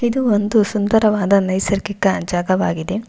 ಇದು ಒಂದು ಸುಂದರವಾದ ನೈಸರ್ಗಿಕ ಜಾಗವಾಗಿದೆ.